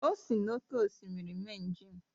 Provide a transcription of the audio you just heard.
O sị n’oké osimiri mee njem